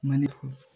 Mali